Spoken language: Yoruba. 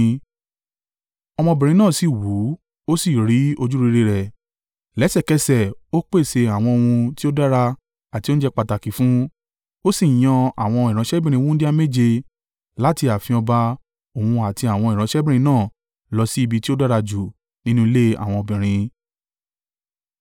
Ọmọbìnrin náà sì wù ú, ó sì rí ojúrere rẹ̀, lẹ́sẹ̀kẹsẹ̀ ó pèsè àwọn ohun tí ó dára àti oúnjẹ pàtàkì fún un. Ó sì yan àwọn ìránṣẹ́bìnrin wúńdíá méje láti ààfin ọba òun àti àwọn ìránṣẹ́bìnrin náà lọ sí ibi tí ó dára jù nínú ilé àwọn obìnrin.